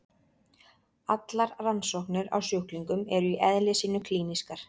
Allar rannsóknir á sjúklingum eru í eðli sínu klínískar.